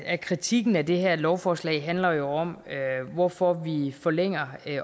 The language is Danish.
af kritikken af det her lovforslag handler jo om hvorfor vi forlænger